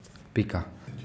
Pika.